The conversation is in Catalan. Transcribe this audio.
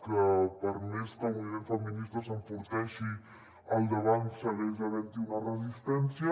que per més que el moviment feminista s’enforteixi al davant segueix havent hi una resistència